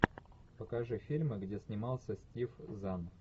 покажи фильмы где снимался стив зан